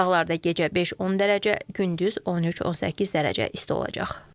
Dağlarda gecə 5-10 dərəcə, gündüz 13-18 dərəcə isti olacaq.